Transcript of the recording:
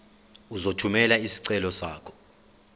uzothumela isicelo sakho